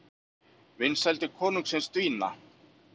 Vinsældir kóngsins dvína